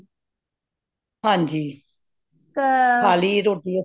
ਹੰਜੀ ਖਾਲੀ ਰੋਟੀ ਅੱਸੀ